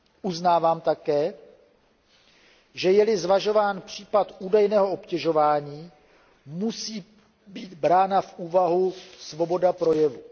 Uznávám také, že je li zvažován případ údajného obtěžování, musí být brána v úvahu svoboda projevu.